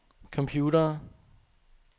computere